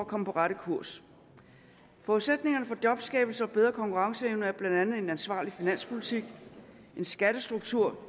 komme på rette kurs forudsætningerne for jobskabelse og bedre konkurrenceevne er blandt andet en ansvarlig finanspolitik og en skattestruktur